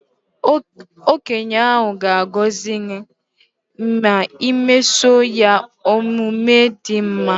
Okenye ahụ ga agọzị gị ma i mesoo ya omume dị mma